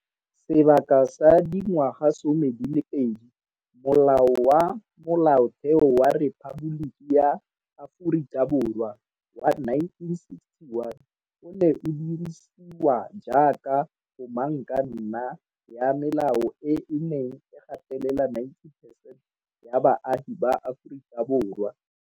Sebaka sa dingwagasome di le pedi, Molao wa Molaotheo wa Rephaboliki ya Aforika Borwa wa 1961 o ne o dirisiwa jaaka komangkanna ya melao e e neng e gatelela 90 percent ya baagi ba Aforika Borwa.